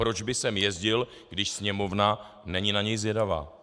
Proč by sem jezdil, když Sněmovna není na něj zvědavá?